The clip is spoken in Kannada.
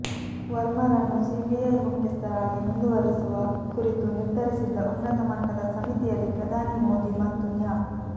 ವರ್ಮರನ್ನು ಸಿಬಿಐ ಮುಖ್ಯಸ್ಥರಾಗಿ ಮುಂದುವರಿಸುವ ಕುರಿತು ನಿರ್ಧರಿಸಿದ್ದ ಉನ್ನತ ಮಟ್ಟದ ಸಮಿತಿಯಲ್ಲಿ ಪ್ರಧಾನಿ ಮೋದಿ ಮತ್ತು ನ್ಯಾ